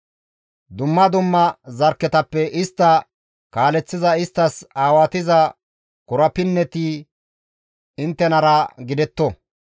Dumma dumma zarkketappe istta kaaleththiza isttas aawatiza korapinneti inttenara gidetto.